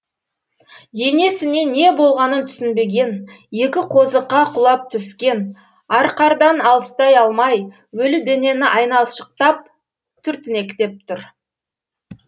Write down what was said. енесіне не болғанын түсінбеген екі қозықа құлап түскен арқардан алыстай алмай өлі денені айналшықтап түртінектеп тұр